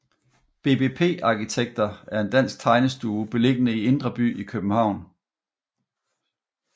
BBP Arkitekter er en dansk tegnestue beliggende i Indre By i København